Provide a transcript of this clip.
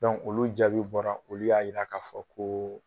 olu jaabi bɔra olu y'a yira k'a fɔ ko